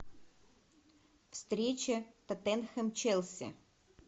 встреча тоттенхэм челси